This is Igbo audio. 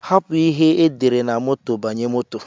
Hapu ihe edere na moto banye moto.